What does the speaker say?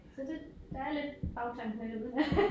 Der er lidt bagtanke med det uden